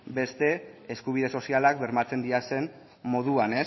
beste eskubide sozialak bermatzen diren moduan